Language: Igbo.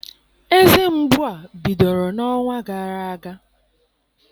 Eze mgbu a bidoro n'ọnwa gara aga.